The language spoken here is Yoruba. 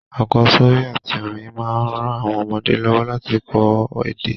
Àkósórí àtí orin ma n ran àwon ọmọdé lọ́wọ́ láti ko èdè